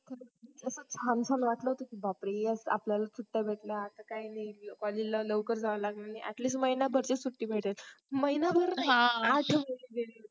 छान छान वाटलं होतं बापरे आपल्याला सुट्ट्या भेटल्या आता आपल्याला काही नाही collage ला लवकर जावं लागणार नाही at least महिना भर तरी सुट्टी भेटल महिना भर नाही आठवड्याची